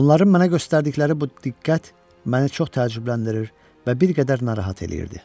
Onların mənə göstərdikləri bu diqqət məni çox təəccübləndirir və bir qədər narahat eləyirdi.